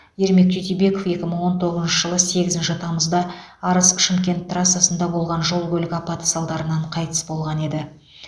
ермек тютюбеков екі мың он тоғызыншы жылы сегізінші тамызда арыс шымкент трассасында болған жол көлік апаты салдарынан қайтыс болған еді